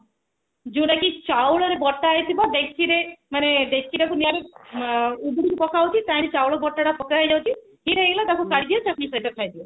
ଯୋଉଟା କି ଚାଉଳ ରେ ବଟା ହେଇଥିବ ଡେକଚି ରେ ମାନେ ଡେକଚି ଟାକୁ ନିଆଁ ରୁ ଉପରକୁ ପକାହଉଛି ତାରି ଚାଉଳ ବଟା ଟା ପତଳା ହେଇଯାଉଛି ହେଇଗଲା ତାକୁ କାଢିକି ଚଟଣି ସହିତ ଖାଇଦିଅ